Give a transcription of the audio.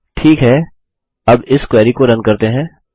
ठीक है अब इस क्वेरी को रन करते हैं